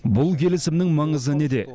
бұл келісімнің маңызы неде